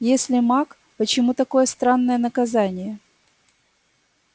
если маг почему такое странное наказание